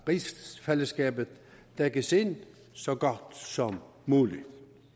rigsfællesskabet dækkes ind så godt som muligt